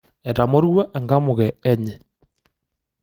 Etamorua enkamuke enye.